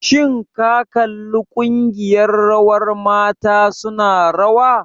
Shin ka kalli ƙungiyar rawar mata su na rawa?